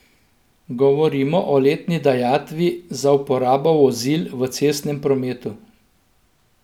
Govorimo o letni dajatvi za uporabo vozil v cestnem prometu.